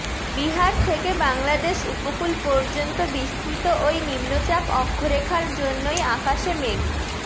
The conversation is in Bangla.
বিহার থেকে বাংলাদেশ উপকূল পর্যন্ত বিস্তৃত ওই নিম্নচাপ অক্ষরেখার জন্যই আকাশে মেঘ